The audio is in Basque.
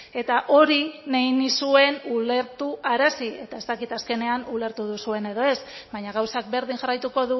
eta hori nahi nizuen ulertarazi eta ez dakit azkenean ulertu duzuen edo ez baina gauzak berdin jarraituko